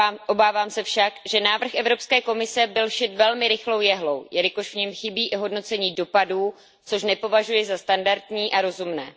Obávám se však, že návrh Evropské komise byl šit velmi rychlou jehlou, jelikož v něm chybí i hodnocení dopadů, což nepovažuji za standardní a rozumné.